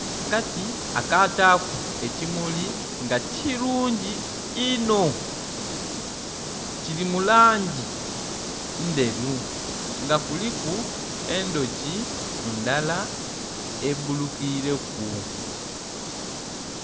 Akati akataaku ekimuli nga kirungi inho...kiri mu langi ndheru nga kuliku endhuki ndhala ebbulukireku.